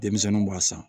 Denmisɛnninw b'a san